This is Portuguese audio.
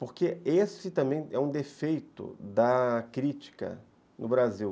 Porque esse também é um defeito da crítica no Brasil.